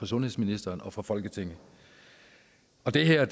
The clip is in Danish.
sundhedsministeren og for folketinget det her